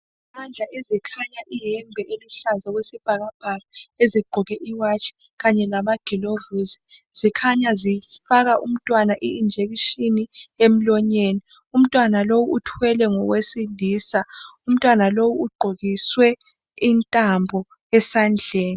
Izandla ezikhanya iyembe eluhlaza okwesibhakabhaka ezigqoke iwatshi kanye lamagilovisi. Zikhanya zifaka umntwana injekishini emlonyeni, umntwana lo uthwele ngowesilisa, umntwana lo ugqokiswe intambo esandleni.